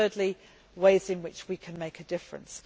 and thirdly, ways in which we can make a difference.